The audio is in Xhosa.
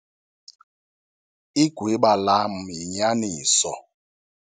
Igwiba lam yinyaniso.